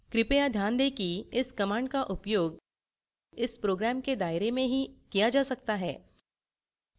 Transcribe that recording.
कृपया ध्यान दें कि इस command का उपयोग इस program के दायरे में ही किया जा सकता है